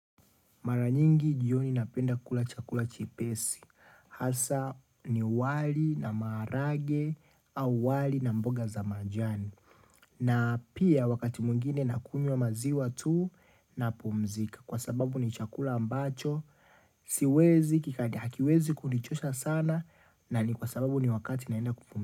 Mara nyingi jioni napenda kula chakula chepesi hasaa ni wali na maharage au wali na mboga za majani na pia wakati mwingine na kunywa maziwa tu na pumzika kwa sababu ni chakula ambacho siwezi kikadi hakiwezi kunichosha sana na ni kwa sababu ni wakati naenda kupum.